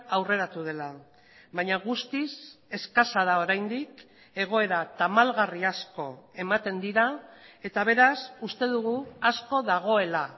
aurreratu dela baina guztiz eskasa da oraindik egoera tamalgarri asko ematen dira eta beraz uste dugu asko dagoela